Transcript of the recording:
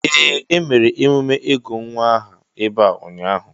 Ee, emere emume ịgụ nwa aha ebe a ụnyaahụ.